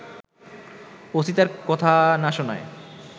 OC তার কথা না শোনায়